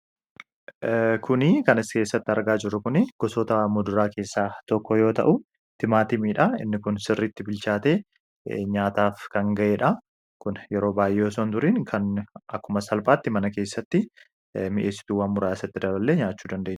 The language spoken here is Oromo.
Kan as keessatti argaa jirru kuni gosoota muduraa keessaa tokko yoo ta'u, timaatimiidha. Inni kun sirriitti bilchaatee kan ga'edha. Kun yero baay'ee osoo hin turiin akkuma salphaatti mana keessatti mi'eessituuwwan muraasa itti daballee nyaachuu dandeenya.